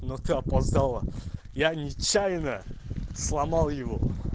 но ты опоздала я нечаянно сломал его